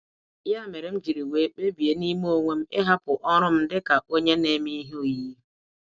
Ya mere, m jiri wee kpebie n'ime onwe m ịhapụ ọrụ m dị ka onye na-eme ihe oyiyi.